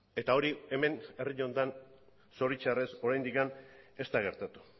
eta hori hemen herri honetan zoritxarrez oraindik ez da gertatu